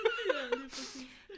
Ja lige præcis